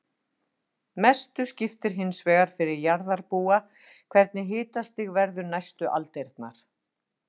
Mestu skiptir hins vegar fyrir jarðarbúa hvernig hitastig verður næstu aldirnar.